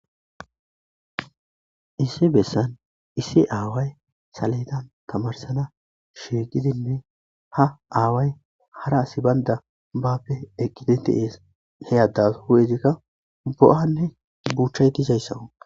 issi bessan issi aaway saledan tamarsana sheeqidinne ha aaway hara asi baynda bappe eqqiti teees heyaddas hu7ezikka bo7anne buchay tizayssaw